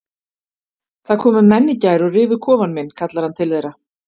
Það komu menn í gær og rifu kofann minn kallar hann til þeirra.